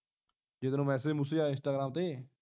ਜੇ ਤੈਨੂੰ ਮੈਸਜ ਮੂਸਜ ਆਏ ਇੰਸਟਾਗ੍ਰਾਮ ਤੇ